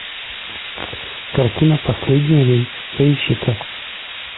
картина последний рейс поищи ка